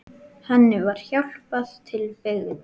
Henni var hjálpað til byggða.